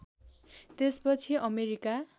त्यसपछि अमेरिका